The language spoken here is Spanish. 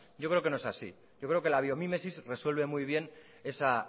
yo creo que no es así yo creo que la biomímesis resuelve muy bien esa